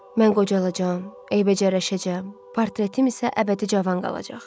Mən qocalacam, eybəcərləşəcəm, portretim isə əbədi cavan qalacaq.